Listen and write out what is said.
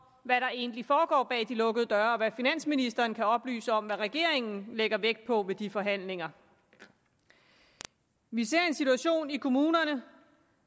hvad der egentlig foregår bag de lukkede døre og hvad finansministeren kan oplyse om hvad regeringen lægger vægt på ved de forhandlinger vi ser en situation i kommunerne